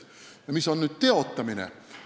Mis on teotamine?